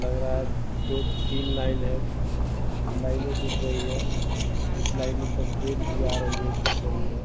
लग रहा है दो-तीन लाइन है लाइनें दिख रही हैं कुछ लाइन में पटरी भी आ रही है दिख रही है ।